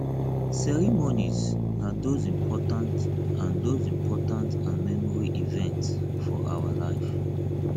ceremonies na those important and those important and memorable events for our life